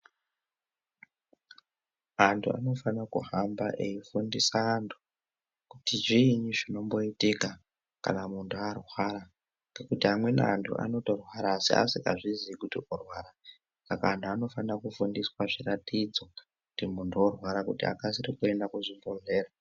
Antu anofana kuhamba eifundisa antu kuti zvinyi zvinomboitika kana muntu arwara ngekuti amweni antu anorwara asingazivi kuti arikurwara Saka antu anofana kufundiswa zviratidzo kuti muntu orwara akasire kuenda kuchibhedhlera.